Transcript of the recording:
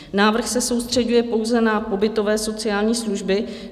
Návrh se soustřeďuje pouze na pobytové sociální služby.